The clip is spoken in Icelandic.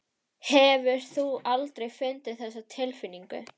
Hefur þú aldrei fundið þessa tilfinningu?